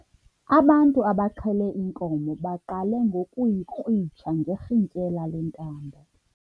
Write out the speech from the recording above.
Ubantu abaxhele inkomo baqale ngokuyikrwitsha ngerhintyela lentambo.